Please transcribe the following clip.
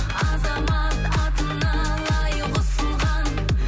азамат атына лайық ұсынған